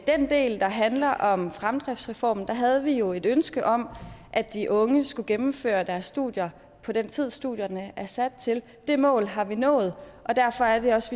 den del der handler om fremdriftsreformen havde vi jo et ønske om at de unge skulle gennemføre deres studier på den tid studierne er sat til det mål har vi nået og derfor er det også